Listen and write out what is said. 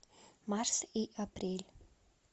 марс и апрель